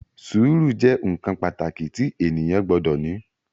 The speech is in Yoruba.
Sùúrù jẹ́ nǹkan pàtàkì tí ènìyàn gbọdọ̀ ní